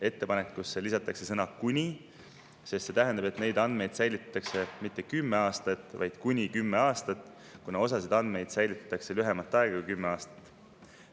Ettepanekusse lisatakse sõna "kuni", sest see tähendab, et neid andmeid säilitatakse mitte kümme aastat, vaid kuni kümme aastat, kuna osasid andmeid säilitatakse lühemat aega kui kümme aastat.